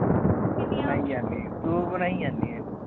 ਬਣਾਈ ਜਾਂਦੀ ਤੂੰ ਬਣਾਈ ਜਾਂਦੀ ਏ